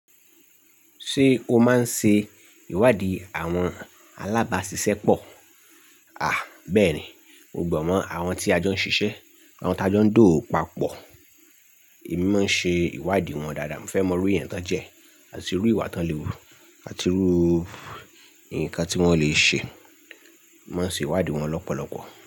Ṣé o máa ń ṣe ìwádìí àwọn alábàáṣiṣẹ́ pọ̀? À bá ẹ̀ ní, mo gbọ́ mọ́ àwọn tí a jọ ń ṣiṣẹ́, àwọn tí a jọ ń dowo papọ̀. Èmi máa ń ṣe ìwádìí wọn dáadáa. Mo fẹ́ mọrú iye ńtà jẹ, àti rú ìwà tí wọ́n lè rú, àti rú ǹkan tí wọ́n lè ṣe. Mo maa ń ṣe ìwádìí wọn lọ́pọ̀lọpọ̀